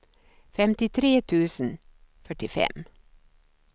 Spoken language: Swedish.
femtiotre tusen fyrtiofem